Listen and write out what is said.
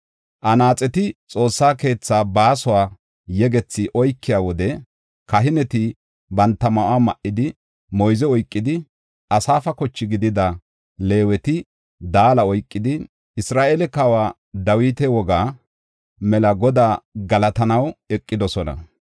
Anaaxeti Xoossa keethaa baasuwa yegethi oykiya wode, kahineti banta ma7o ma7idi moyze oykidi, Asaafa koche gidida, Leeweti daala oykidi, Isra7eele kawa Dawita wogaa mela Godaa galatanaw eqidosona.